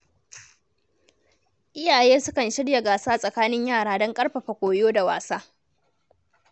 Iyaye sukan shirya gasa tsakanin yara don ƙarfafa koyo da wasa.